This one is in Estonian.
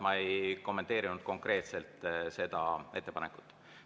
Ma ei kommenteerinud konkreetselt seda ettepanekut.